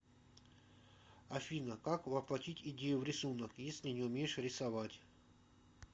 афина как воплотить идею в рисунок если не умеешь рисовать